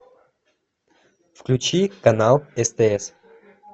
включи канал стс